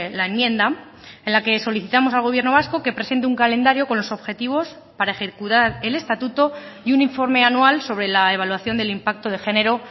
la enmienda en la que solicitamos al gobierno vasco que presente un calendario con los objetivos para ejecutar el estatuto y un informe anual sobre la evaluación del impacto de género